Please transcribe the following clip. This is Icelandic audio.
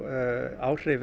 áhrif